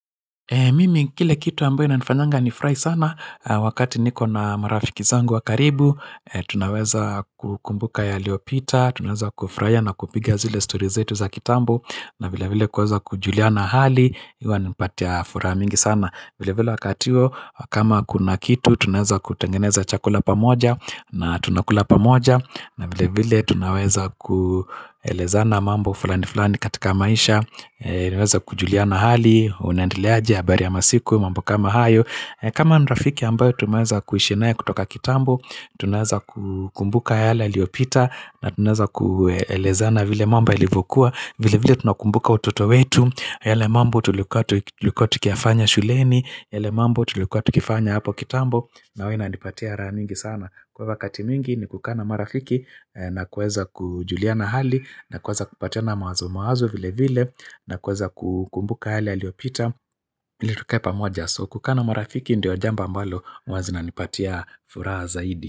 Mimi, kile kitu ambayo inanifanyanga nifurahi sana, wakati niko na marafiki zangu wakaribu, tunaweza kukumbuka yaliyopita, tunaweza kufurahia na kupiga zile stori zetu za kitambo, na vile vile kuweza kujuliana hali, huwa inanipatia furaha mingi sana. Vile vile wakati huo kama kuna kitu tunaweza kutengeneza chakula pamoja na tunakula pamoja na vile vile tunaweza kuelezana mambo fulani fulani katika maisha Tunaweza kujuliana hali, unaendeleaji habari ya masiku, mambo kama hayo kama ni rafiki ambayo tumeweza kuishi naye kutoka kitambo, tunaweza kumbuka yale yaliopita na tunaweza kuelezana vile mambo yalivyokuwa vile vile tunakumbuka utoto wetu yale mambo tulikuwa tikiyafanya shuleni yale mambo tulikuwa tukifanya hapo kitambo na huwa inanipatia raha nyingi sana Kwa wakati mwingi ni kukaa na marafiki na kuweza kujuliana hali na kuweza kupatia na mawazo mawazo vile vile na kuweza kukumbuka yale yaliopita ili tukae pamoja so kukaa marafiki Ndiyo jambo ambalo huwa zinanipatia furaha zaidi.